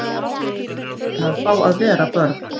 Börn eiga að fá að vera börn